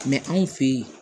anw fe yen